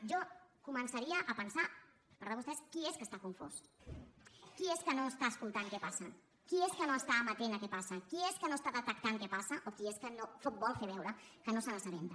jo començaria a pensar per part de vostès qui és que està confós qui és que no està escoltant què passa qui és que no està amatent a què passa qui és que no està detectant què passa o qui és que vol fer veure que no se n’assabenta